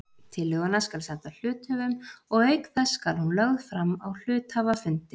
Tillöguna skal senda hluthöfum og auk þess skal hún lögð fram á hluthafafundi.